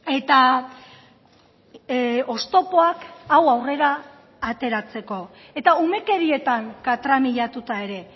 eta oztopoak hau aurrera ateratzeko eta umekerietan katramilatuta ere